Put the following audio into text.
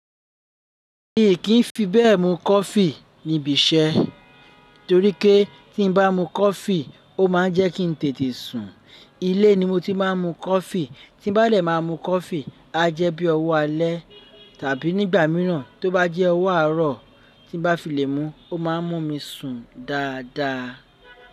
Mi kì í fi bẹ́ẹ̀ mu coffee níbi iṣẹ́ torí pé tí mo bá mu coffee, ó ma ń jẹ́ kí n tètè sùn. Ilé ni mo ti máa ń mu coffee. Tí bá lè máa mu coffee, á jẹ́ bí ọwọ́ alẹ́ tàbí nígbà mìíràn tó bá jẹ́ ọwọ́ àárọ̀ tí bá fi lè mú, ó má a mú mi sùn dáadáa.